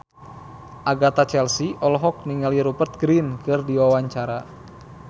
Agatha Chelsea olohok ningali Rupert Grin keur diwawancara